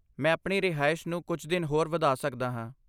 ਮੈਂ ਆਪਣੀ ਰਿਹਾਇਸ਼ ਨੂੰ ਕੁਝ ਦਿਨ ਹੋਰ ਵਧਾ ਸਕਦਾ ਹਾਂ।